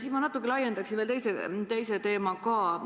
Ja ma natukene laiendan arutelu ja toon veel teise teema ka sisse.